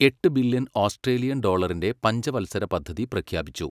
എട്ട് billion Australian ഡോളറിന്റെ പഞ്ചവത്സര പദ്ധതി പ്രഖ്യാപിച്ചു.